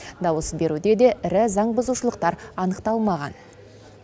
дауыс беруде де ірі заң бұзушылықтар анықталмаған